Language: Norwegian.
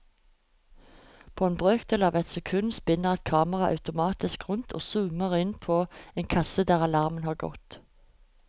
På en brøkdel av et sekund spinner et kamera automatisk rundt og zoomer inn på en kasse der alarmen har gått.